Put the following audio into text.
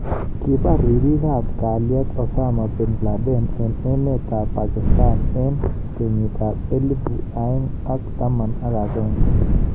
Kibar ribik ab kaliet Osama Binladen eng emet ab Pakistan eng kenyit ab elipu aeng ak taman agenge.